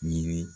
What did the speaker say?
Yiri